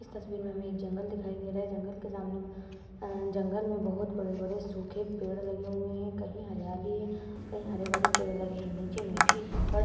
इस तस्वीर में हमें एक जंगल दिखाई दे रहा है। जंगल के सामने अं जंगल में बहोत बड़े-बड़े सूखे पेड़ लगे हुए हैं। कहीं हरियाली है। कहीं हरे-भरे पेड़ लगे हैं। नीचे मिट्टी कंकड --